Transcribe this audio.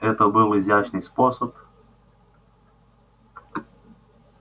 это был изящный способ